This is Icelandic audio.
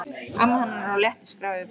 Amma hennar á léttu skrafi við Berta.